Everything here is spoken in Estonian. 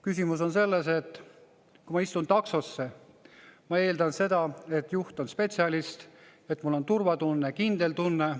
Küsimus on selles, et kui ma istun taksosse, siis ma eeldan seda, et juht on spetsialist, et mul on turvatunne, kindel tunne.